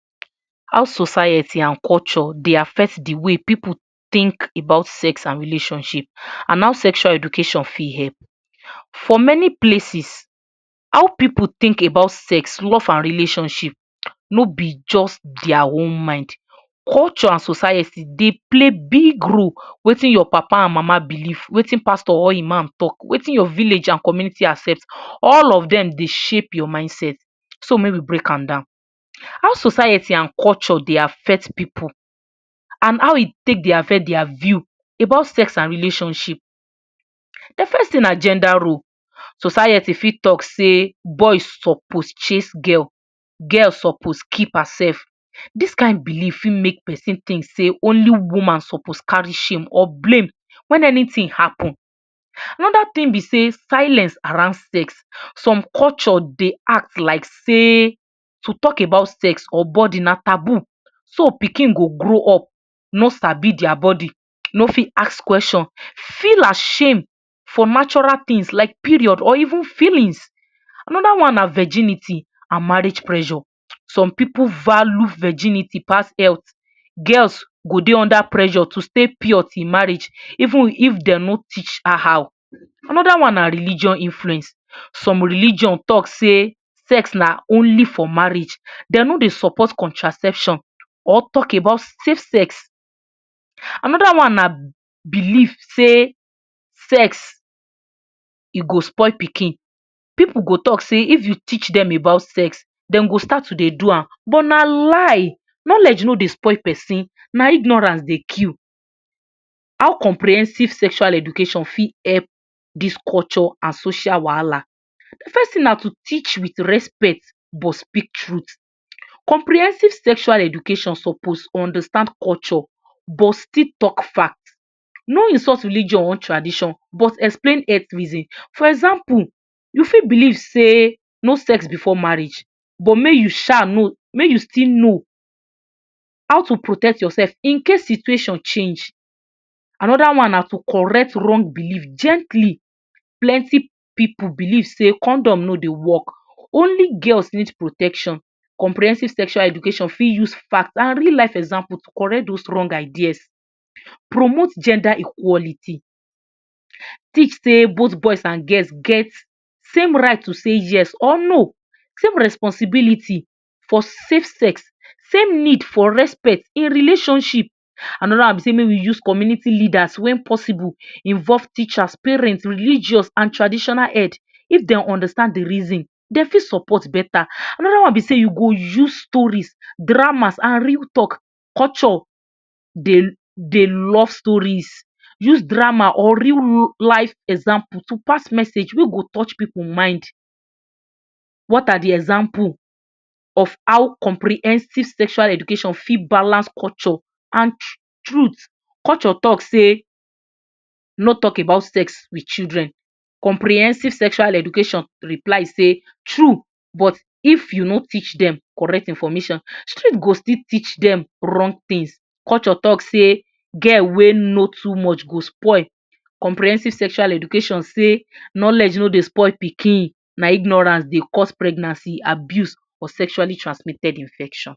How society and culture de affect de way pipu think about sex and relationship and how sexual education fit help. For many places, how pipu think about love, sex and relationship no be just there own mind. Culture and society de play big role wetin your papa and mama believe wetin pastor or imam talk wetin your villages and community accept all of dem de shape your mind set so may we break am down. How society and culture de affect pipo and how e take de affect their view about sex and relationship. de first thing na gender role, society fit talk sey boys suppose chase girls, girl suppose keep herself. this kind believe fit make person think sey only woman suppose carry shame or blame wen anything happen fit when anything happen. another thing be sey silence around sex some culture de act like sey to talk about sex or burden na tabu so pikin go grow up no sabi their body no fit ask question feel ashame for natural thing like period or even feelings. Another one na virginity and marriage pressure some pipu value virginity pass health. Girls go dey under pressure to stay pure til after marriage even if dem no teach her how. another one na religion influence some religion talk sey sex na only for marriage dem no support contraception or talk about safe sex. Another one na believe sey sex e go spoil pikin, pipu go talk sey if you teach dem about sex dem go start to de do am but na lie, knowledge no de spoil person na ignorance de kill. how comprehensive sexual education fit help dis culture and social wahala. first thing na to teach with respect but speak truth. comprehensive sexual education suppose understand culture but still talk fact no insult religion or tradition but explain earth reason for example you fit believe sey no sex before marriage but make you sha no make you still know how to protect your self incase situation change. another one na to correct wrong believe gently plenty pipu believe sey condom no dey work, only girls need protection. comprehensive sexual education fit use fact and real life example to correct those wrong ideas promote gender equality .teach sey both girls and boys get same right to sey yes or no same responsibility for safe sex same need respect in relationship. Another one make we use community leaders wen possible involve teachers, parents, religious and traditional head make dem understand d reason dem fit support beta. Another one be sey you go use stories, dramas and real talk culture dey love stories use drama or real life example to pass message wey go touch pipu mind. what are de example of how comprehensive sexual education fit balance culture and truth. culture talk sey no talk about sex with children. comprehensive sexual education reply sey true but if you no teach dem correct information, street go still teach dem wrong thing culture talk sey girl wey know too much go spoil. comprehensive sexual education sey knowledge no de spoil pikin na ignorance de cost pregnancy abuse or sexually transmitted infection